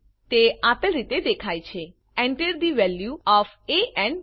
તે આપેલ રીતે દેખાય છે Enter the value of A and B